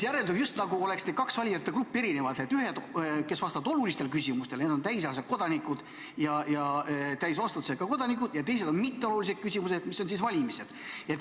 Järeldub, just nagu oleksid need kaks valijate gruppi erinevad: ühed, kes vastavad olulistele küsimustele, need on täisealised ja täisvastutusega kodanikud, ja teised on mitteolulised küsimused, need on valimised.